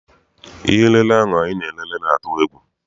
Ihe m lele ahụ anyị na-elele na-atụ egwu.